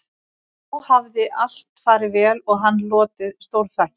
Þá hafði allt farið vel og hann hlotið stórþakkir